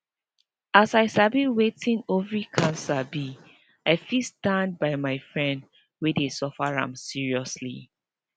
as i sabi wetin ovary cancer be i fit stand by my friend wey dey suffer am seriously